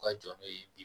U ka jɔn n'o ye bi